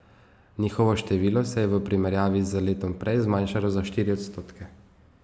Njihovo število se je v primerjavi z letom prej zmanjšalo za štiri odstotke.